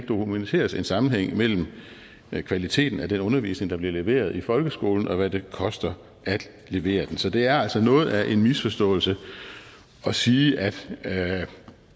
dokumenteres en sammenhæng mellem kvaliteten af den undervisning der bliver leveret i folkeskolen og hvad det koster at levere den så det er altså noget af en misforståelse at sige at at